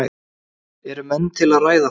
Eru menn til í að ræða það?